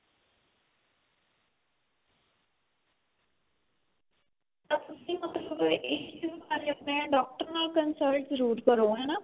ਤੇ ਤੁਸੀਂ ਬਿਮਾਰੀ ਆਪਣੇ ਡਾਕਟਰ ਨਾਲ consult ਜਰੂਰ ਕਰੋ ਹਨਾ.